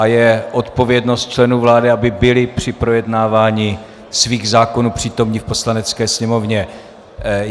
A je odpovědnost členů vlády, aby byli při projednávání svých zákonů přítomni v Poslanecké sněmovně.